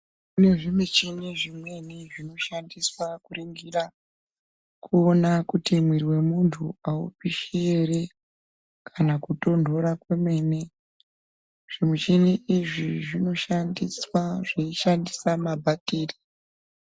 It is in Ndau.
Kune zvimichini zvimweni zvinoshandiswa kuringira kuona kuti muviri wemunhu aupishi ere kana kotonhora kwemene zvimichini izvi zvinooneka zvishandiswa mabhatiri .